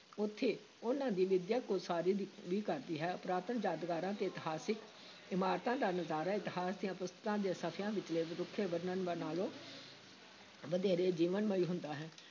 ਉੱਥੇ ਉਨ੍ਹਾਂ ਦੀ ਵਿੱਦਿਅਕ ਉਸਾਰੀ ਵੀ ਵੀ ਕਰਦੀ ਹੈ, ਪੁਰਾਤਨ ਯਾਦਗਾਰਾਂ ਤੇ ਇਤਿਹਾਸਕ ਇਮਾਰਤਾਂ ਦਾ ਨਜ਼ਾਰਾ ਇਤਿਹਾਸ ਦੀਆਂ ਪੁਸਤਕਾਂ ਦੇ ਸਫ਼ਿਆਂ ਵਿਚਲੇ ਰੁੱਖੇ ਵਰਣਨ ਨਾਲੋਂ ਵਧੇਰੇ ਜੀਵਨਮਈ ਹੁੰਦਾ ਹੈ।